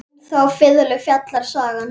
Um þá fiðlu fjallar sagan.